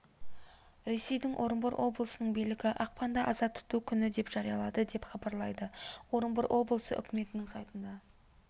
ресейдің орынбор облысының билігі ақпанды аза тұту күні деп жариялады деп хабарлайды орынбор облысы үкіметінің сайтында